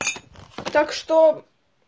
так что